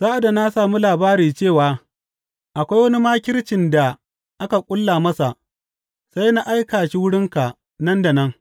Sa’ad da na sami labari cewa akwai wani makircin da aka ƙulla masa, sai na aika shi wurinka nan da nan.